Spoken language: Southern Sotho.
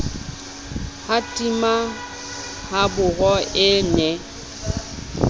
ha tima haboro e ne